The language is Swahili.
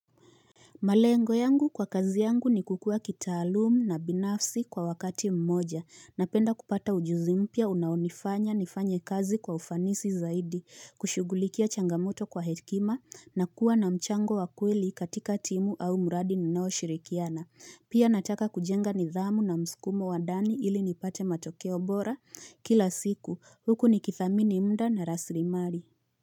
Malengo yangu kwa kazi yangu ni kukua kitaalumu na binafsi kwa wakati mmoja na penda kupata ujuzimpia unaonifanya nifanye kazi kwa ufanisi zaidi kushugulikia changamoto kwa hekima na kuwa na mchango wakweli katika timu au muradi ninao shirikiana pia nataka kujenga nidhamu na mskumo wadani ili nipate matokeo bora kila siku huku ni kithamini mda na rasrimari.